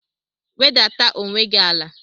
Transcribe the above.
Wedata onwe gị ala!